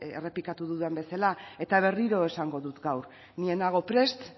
errepikatuko dudan bezala eta berriro esangu dut gaur ni ez nago prest